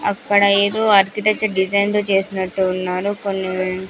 అక్కడ ఏదో architecture designs తో చేసినట్టు ఉన్నాను కొన్ని --